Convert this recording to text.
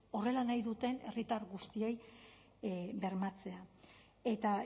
horrela nahi duten herritar guztiei bermatzea eta